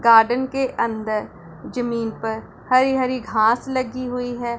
Garden के अंदर जमीन पर हरी हरी घास लगी हुई है।